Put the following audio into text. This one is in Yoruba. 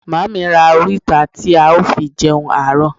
Mummy ra orita ti ao fi jeun aro